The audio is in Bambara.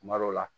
Kuma dɔw la